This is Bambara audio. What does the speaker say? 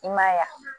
I ma ye wa